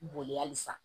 Boli halisa